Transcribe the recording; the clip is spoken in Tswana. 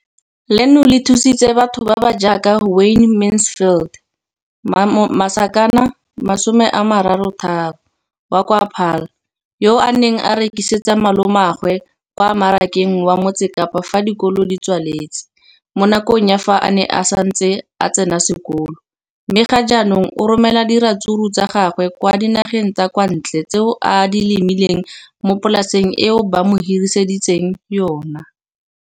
Leno le thusitse batho ba ba jaaka Wayne Mansfield, 33, wa kwa Paarl, yo a neng a rekisetsa malomagwe kwa Marakeng wa Motsekapa fa dikolo di tswaletse, mo nakong ya fa a ne a santse a tsena sekolo, mme ga jaanong o romela diratsuru tsa gagwe kwa dinageng tsa kwa ntle tseo a di lemileng mo polaseng eo ba mo hiriseditseng yona.